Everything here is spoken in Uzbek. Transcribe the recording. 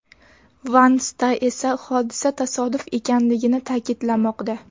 Van Sta esa hodisa tasodif ekanligini ta’kidlamoqda.